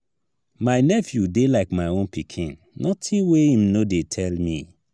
my nephew dey like my own pikin notin wey im no dey tell me.